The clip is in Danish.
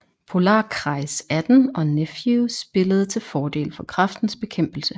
Polarkreis 18 og Nephew spillede til fordel for Kræftens Bekæmpelse